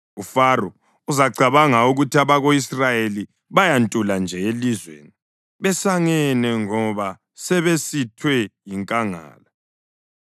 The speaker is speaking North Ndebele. UFaro uzacabanga ukuthi abako-Israyeli bayantula nje elizweni besangene ngoba sebesithwe yinkangala.